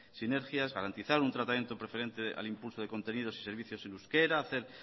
sinergia garantizar un tratamiento preferente al impulso de contenidos y servicios en euskera hacer